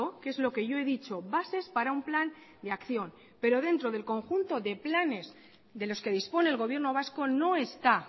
que es lo que yo he dicho bases para un plan de acción pero dentro del conjunto de planes de los que dispone el gobierno vasco no está